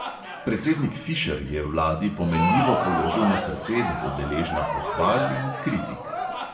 Predsednik fišer je vladi pomenljivo položil na srce, da bo deležna pohval in kritik.